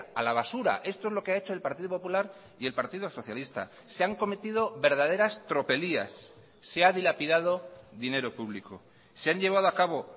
a la basura esto es lo que ha hecho el partido popular y el partido socialista se han cometido verdaderas tropelías se ha dilapidado dinero público se han llevado a cabo